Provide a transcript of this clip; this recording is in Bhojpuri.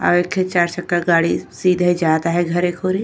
और एठो चार चक्का गाड़ी सीधे जाता है घरे खोले।